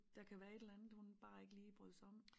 Der kan være et eller andet hun simpelthen ikke brød sig om